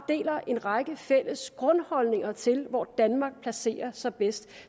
en række fælles grundholdninger til hvor danmark placerer sig bedst